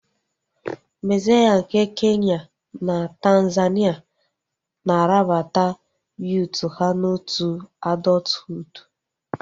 Massai nke Kenya na Tanzania na-arabata yuut ha n'otu adọthuud